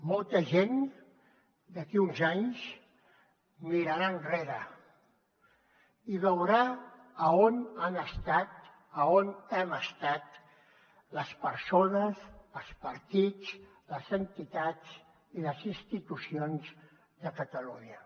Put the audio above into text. molta gent d’aquí a uns anys mirarà enrere i veurà a on han estat a on hem estat les persones els partits les entitats i les institucions de catalunya